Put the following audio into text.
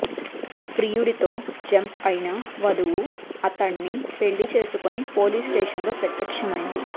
ప్రియుడితో jump అయిన వధువు అతడ్ని పెళ్లి చేసుకొని పోలీస్ స్టేషన్ లో ప్రత్యక్షమైంది